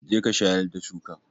Jeka shayar da shukan!